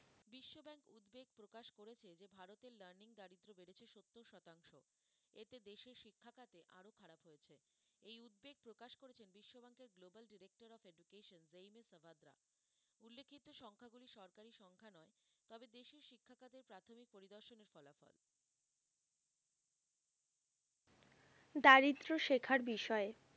দারিদ্র্য শেখার বিষয়ে,